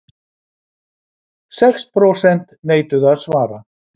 Sex prósent neituðu að svara